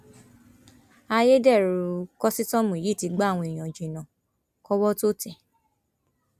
ayédèrú kòsítọọmù yìí ti gba àwọn èèyàn jìnnà kọwọ tóo tẹ ẹ